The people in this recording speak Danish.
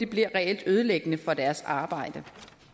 bliver reelt ødelæggende for deres arbejde